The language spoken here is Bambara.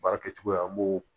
Baara kɛcogoya an b'o